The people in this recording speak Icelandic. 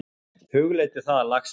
Hugleiddu það, lagsmaður!